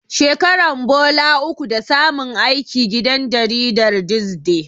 Shekaran bola uku da samun aiki gidan jaridar This Day.